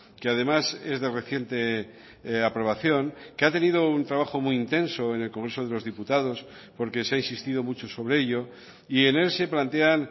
que además es de reciente aprobación que ha tenido un trabajo muy intenso en el congreso de los diputados porque se ha insistido mucho sobre ello y en él se plantean